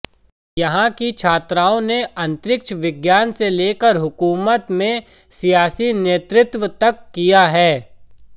यहां की छात्राओं ने अंतरिक्ष विज्ञान से लेकर हुकूमत में सियासी नेतृत्व तक किया है